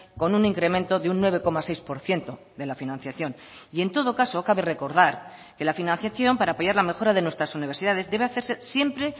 con un incremento de un nueve coma seis por ciento de la financiación y en todo caso cabe recordar que la financiación para apoyar la mejora de nuestras universidades debe hacerse siempre